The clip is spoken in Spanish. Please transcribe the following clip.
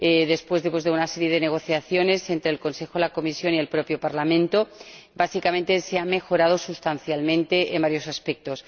Después de una serie de negociaciones entre el Consejo, la Comisión y el propio Parlamento, se ha mejorado sustancialmente en varios aspectos.